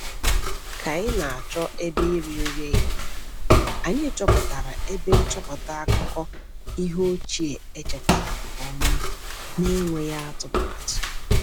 Ka anyị na-achọ ebe iri nri ehihie, anyị chọpụtara ebe nchọpụta akụkọ ihe ochie echekwara nke ọma n’enweghị atụmatụ.